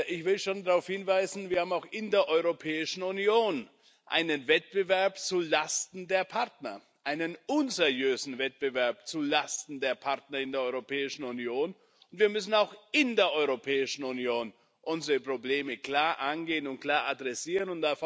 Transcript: Ich will schon darauf hinweisen Wir haben auch in der Europäischen Union einen Wettbewerb zu Lasten der Partner einen unseriösen Wettbewerb zulasten der Partner in der Europäischen Union. Wir müssen auch in der Europäischen Union unsere Probleme klar angehen und klar adressieren.